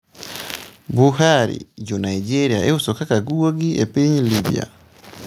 Buhari: Jo Naijeria iuso kaka guogi e piny Libya